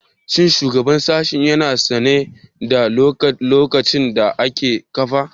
Shin shugaban sashen ya na sane da laccocin da aka kafa?